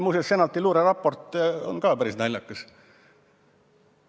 Muuseas, Senati luureraport on samuti päris naljakas.